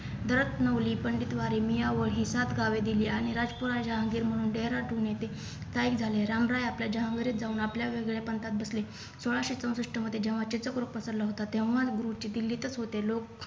दहत नवली पंडित वारी मीयाव ही सात गावे दिली आणि राजकुमार जहांगीर म्हणून डेहराडून येथे स्थायिक झाले रामराय आपल्या जहांगिरीत जाऊन आपल्या वेगवेगळ्या पंथात बसले सोळाशे चौसष्ठ मध्ये जेव्हा चित्रकोर पसरलं होतं तेव्हा गुरुजी दिल्लीतच होते लोक